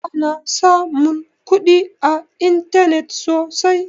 Ana samun kuɗi a intanet sosai